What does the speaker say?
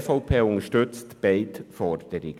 Die EVP unterstützt beide Forderungen.